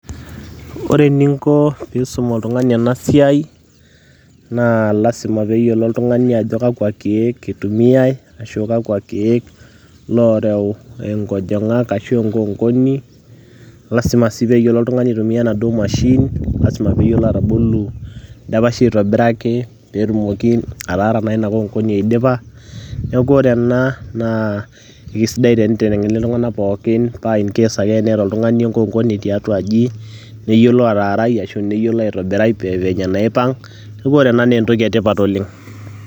Ore eninko pisum oltungani ena siai naa lasima peyiolo oltungani ajo kakwa kiekitumiay ashu kakwa kiek loreu inkojingak ashu enkoonkoni . Lasima sii peyiolo oltungani aitumia enaduoo machine, lasima peyiolo atabolu indapashi aitobiraki peetumoki ataara naa ina konkoni aidipa . Niaku ore ena naa kisidai naji tenitengeni iltunganak pookin paa incase ake teneeta oltungani enkoonkoni tiatua aji , neyilo ataarai ashu neyiolo aitobirai venye naipang ,niakuore ena naa entoki etipat oleng.